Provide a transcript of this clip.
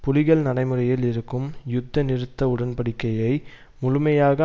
புலிகள் நடைமுறையில் இருக்கும் யுத்த நிறுத்த உடன்படிக்கையை முழுமையாக